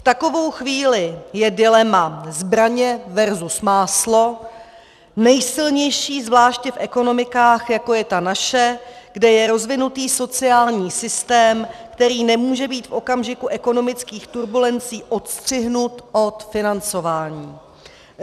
V takovou chvíli je dilema zbraně versus máslo nejsilnější zvláště v ekonomikách, jako je ta naše, kde je rozvinutý sociální systém, který nemůže být v okamžiku ekonomických turbulencí odstřihnut od financování.